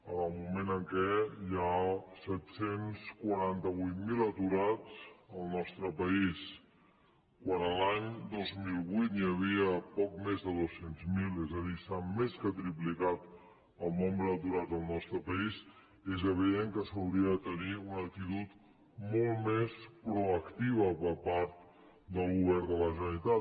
en el moment en què hi ha set cents i quaranta vuit mil aturats al nostre país quan l’any dos mil vuit n’hi havia poc més de dos cents miler és a dir s’ha més que triplicat el nombre d’aturats al nostre país és evident que s’hauria de tenir una acti·tud molt més proactiva per part del govern de la ge·neralitat